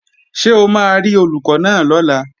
Ṣé o máa rí Olùkọ́ náà lọ́la?